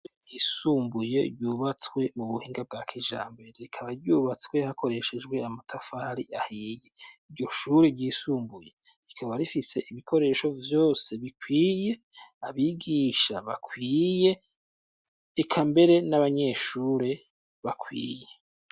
Ishure ryisumbuye ryubatswe mu buhinga bwa kijambere rikaba ryubatswe hakoreshejwe amatafari ahiye iryo shure ryisumbuye rikaba rifise ibikoresho vyose bikwiye, abigisha bakwiye eka mbere n'abanyeshure bakwiye.